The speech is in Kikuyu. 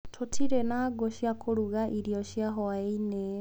Tũtirĩ na ngũ cia kũruga irio cia hwaĩ-inĩ